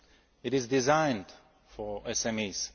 Act. It is designed for